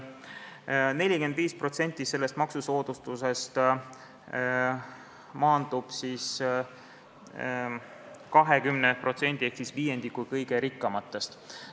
45% sellest maksusoodustusest läheb 20%-le ehk viiendikule kõige rikkamatest.